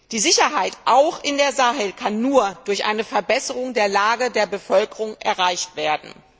Die Sicherheit auch in dem Sahel kann nur durch eine Verbesserung der Lage der Bevölkerung erreicht werden.